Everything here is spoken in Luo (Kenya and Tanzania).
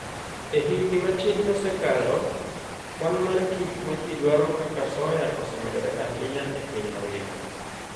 E higini matin mosekalo, kwan mar gik ma ji dwaro kaka soya osemedore ahinya e piny mangima.